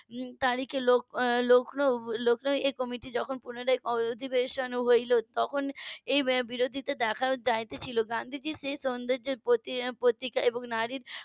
তারিখে লখনউ~ লখনউ এর committee যখন পুনরায় অধিবেশন হলো তখন এই বিরোধিতা দেখা যাচ্ছিলো গান্ধীজি সেই সৌন্দর্যের প্রতীক এবং নারীর